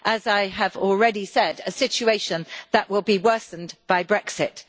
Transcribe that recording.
As I have already said, a situation that will be worsened by Brexit.